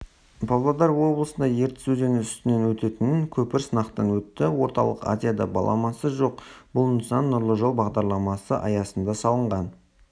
павлодар облысында ертіс өзені үстінен өтетін көпір сынақтан өтті орталық азияда баламасы жоқ бұл нысан нұрлы жол бағдарламасы аясында салынған